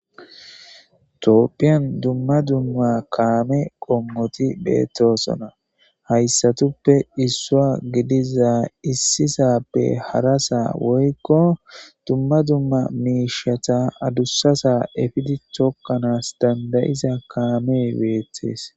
tooppiyan dumma dumma kaame qommoti beettosona hayssatuppe issua gidiza issisappe harasaa woykko dumma dumma miishata adussasa efidi tokkanaas dandayiza kaame beetees